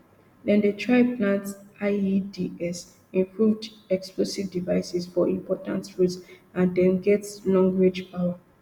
dem dey plant ieds improved explosive devices for important roads and dem get longrange power